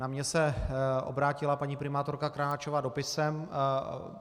Na mě se obrátila paní primátorka Krnáčová dopisem.